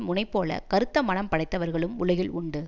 முனைபோலக் கறுத்த மனம் படைத்தவர்களும் உலகில் உண்டு